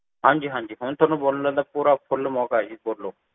ਹਾਂਜੀ ਹਾਂਜੀ ਹੁਣ ਤੁਹਾਨੂੰ ਬੋਲਣ ਦਾ ਪੂਰਾ full ਮੌਕਾ ਹੈ ਜੀ ਬੋਲੋ